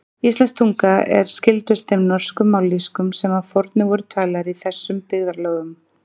Íslensk tunga er skyldust þeim norsku mállýskum sem að fornu voru talaðar í þessum byggðarlögum.